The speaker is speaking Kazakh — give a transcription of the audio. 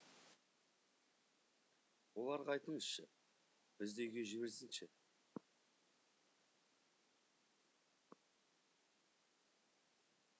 оларға айтыңызшы бізді үйге жіберсінші